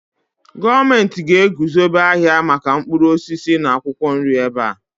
gọọmenti ga-eguzobe ahịa maka mkpụrụ osisi na akwụkwọ nri ebe a